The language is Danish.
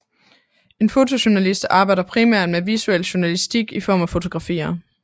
En fotojournalist arbejder primært med visuel journalistik i form af fotografier